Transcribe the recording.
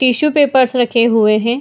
Tissue papers रखे हुए है ।